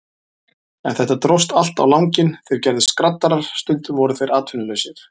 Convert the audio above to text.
En þetta dróst allt á langinn, þeir gerðust skraddarar, stundum voru þeir atvinnulausir.